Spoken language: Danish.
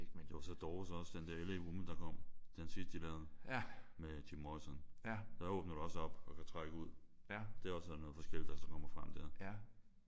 Jo så Doors også den der L.A. Woman der kom. Den sidste de lavede med Jim Morrison. Der åbner du også op og kan trække ud. Der er også noget forskelligt der så kommer frem der